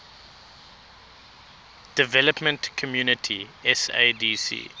development community sadc